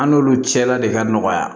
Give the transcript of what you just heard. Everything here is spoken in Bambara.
An n'olu cɛla de ka nɔgɔya